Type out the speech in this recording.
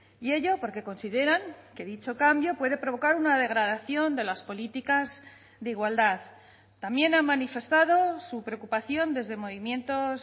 y ello porque consideran que dicho cambio puede provocar una degradación de las políticas de igualdad también ha manifestado su preocupación desde movimientos